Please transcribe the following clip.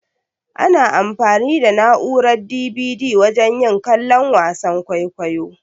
Ana anfani da na'urar "DVD" wajen yin kallon wasan kwaikwayo.